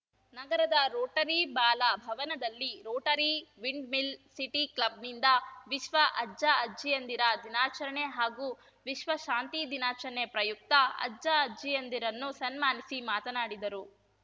ನಗರದ ರೋಟರಿ ಬಾಲ ಭವನದಲ್ಲಿ ರೋಟರಿ ವಿಂಡ್‌ಮಿಲ್‌ ಸಿಟಿ ಕ್ಲಬ್‌ನಿಂದ ವಿಶ್ವ ಅಜ್ಜ ಅಜ್ಜಿಯಂದಿರ ದಿನಾಚರಣೆ ಹಾಗೂ ವಿಶ್ವ ಶಾಂತಿ ದಿನಾಚರಣೆ ಪ್ರಯುಕ್ತ ಅಜ್ಜ ಅಜ್ಜಿಯಂದಿರನ್ನು ಸನ್ಮಾನಿಸಿ ಮಾತನಾಡಿದರು